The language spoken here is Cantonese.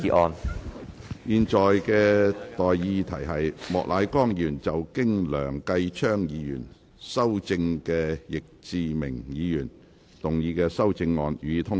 我現在向各位提出的待議議題是：莫乃光議員就經梁繼昌議員修正的易志明議員議案動議的修正案，予以通過。